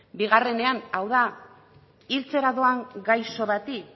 bigarrenean hau da hiltzera doan gaixo bati